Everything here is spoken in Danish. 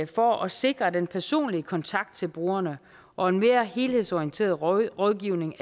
for at sikre den personlige kontakt til brugerne og en mere helhedsorienteret rådgivning